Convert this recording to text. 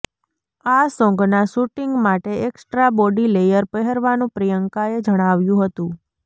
આ સોન્ગના શૂટિંગમાટે એકસ્ટ્રા બોડી લેયર પહેરવાનું પ્રિયંકાએ જણાવ્યું હતું